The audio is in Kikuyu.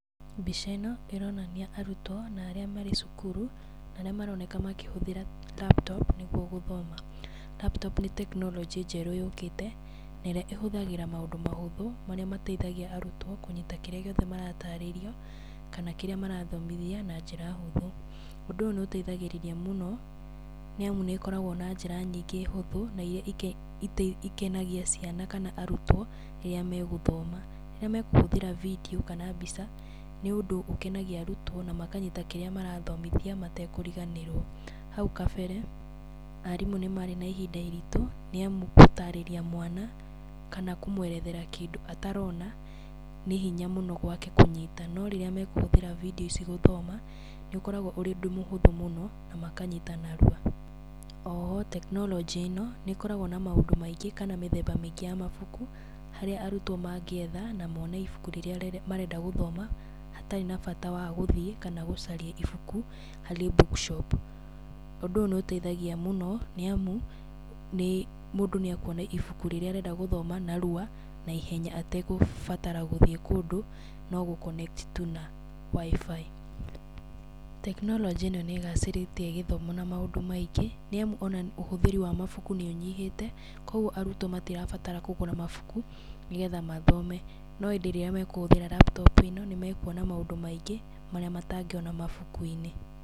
Mbica ĩno ĩronania arutwo na arĩa marĩ cukuru, na arĩa maroneka makĩhũthĩra laptop, nĩguo gũthoma. Laptop nĩ tekinoronjĩ njerũ yũkĩte, na ĩrĩa ĩhũthagĩra maũndũ mahũthũ marĩa mateithagia arutwo kũnyita kĩrĩa gĩothe maratarĩrio, kana kĩrĩa marathomithia na njĩra hũthũ. Ũndũ ũyũ nĩ ũteithagĩrĩria mũno, nĩ amu nĩ ĩkoragwo na njĩra nyingĩ hũthũ, na iria ikenagia ciana kana arutwo rĩrĩa megũthoma, rĩrĩa mekũhũthĩra bindiũ kana mbica, nĩ ũndũ ũkenagia arutwo na makanyita kĩrĩa marathomithio matekũriganĩrwo. Hau kabere arimũ nĩ marĩ na ihinda iritũ nĩ amu gũtarĩria mwana kana kũmwerethera kĩndũ atarona, nĩ hinya mũno gwake kũnyita, no rĩrĩa mekũhũthĩra bindiũ ici gũthoma, nĩ ũkoragwo ũrĩ ũndũ mũhũthũ mũno, na makanyita narua, o ho tekinoronjĩ ĩno, nĩ ĩkoragwo na maũndũ maingĩ kana mĩthemba mĩingĩ ya mabuku, harĩa arutwo mangĩetha kana mone ibuku rĩrĩa marenda gũthoma, hatarĩ na bata wa gũthiĩ kana gũcaria ibuku harĩ bookshop. Ũndũ ũyũ nĩ ũteithagia mũno, nĩ amu nĩ mũndũ nĩ akuona ibuku rĩrĩa arenda gũthoma narua, naihenya ategũbatara gũthiĩ kũndũ no gũ- connect tu na WiFi. Tekinoronjĩ ĩno nĩ ĩgacĩrithĩtie gĩthomo na maũndũ maingĩ, nĩ amu ona ũhũthĩri wa mabuku nĩ ũnyihĩte, koguo arutwo matirabatara kũgũra mabuku, nĩgetha mathome, no ĩndĩ rĩrĩa mekũhũthĩra laptop ĩno, nĩ mekuona maũndũ maingĩ marĩa matangĩona mabuku-inĩ.